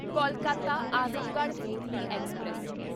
Kolkata Azamgarh weekly express